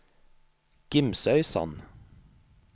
Gimsøysand